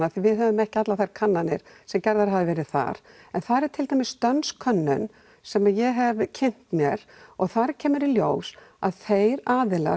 við höfum ekki þær kannanir sem gerðar hafa verið þar en þar er til dæmis dönsk könnun sem ég hef kynnt mér og þar kemur í ljós að þeir aðilar